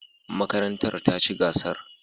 Makarantar ta ci gasar.